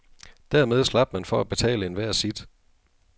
Dermed slap man for at betale enhver sit.